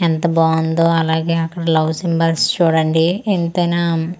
ఎంత బావుందో అలాగే అక్కడ లవ్ సింబల్స్ చూడండి ఎంతైనా రిసెప్షన్ .